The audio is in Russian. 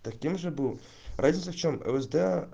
таким же был разница в чём лсд